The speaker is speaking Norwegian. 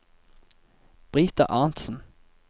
Brita Arntsen